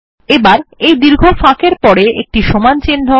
এবার এই দীর্ঘ ফাঁক এর পরে একটি সমান চিহ্ন